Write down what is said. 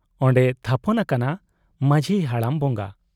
ᱚᱱᱰᱮᱭ ᱛᱷᱟᱯᱚᱱ ᱟᱠᱟᱱᱟ ᱢᱟᱹᱡᱷᱤ ᱦᱟᱲᱟᱢ ᱵᱚᱝᱜᱟ ᱾